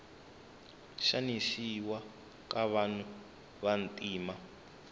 xanisiwa ka vanhu vantima